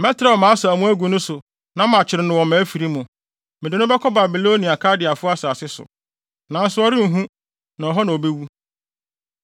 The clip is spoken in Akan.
Mɛtrɛw mʼasau mu agu ne so na makyere no wɔ mʼafiri mu; mede no bɛkɔ Babilonia Kaldeafo asase so, nanso ɔrenhu na hɔ na obewu.